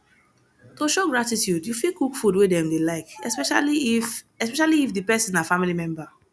to show gratitude you fit cook food wey dem dey like especially if especially if di person na family member